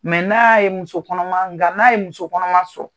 n'a ye muso kɔnɔman, nga n'a ye muso kɔnɔman sɔrɔ